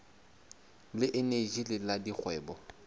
le eneji le la dikgwebo